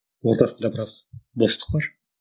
ортасында біраз бостық бар